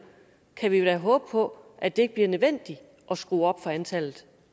håbe på at det ikke bliver nødvendigt at skrue op for antallet